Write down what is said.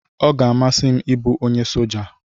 Ọ ga-amasị m ịbụ onye soja